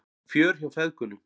Fjör hjá feðgunum